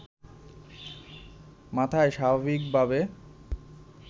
মাথায় স্বাভাবিকভাবে